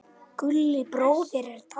Gulli bróðir er dáinn.